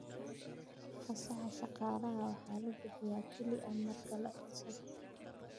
Fasaxa shaqaalaha waxaa la bixiyaa kaliya marka la codsado.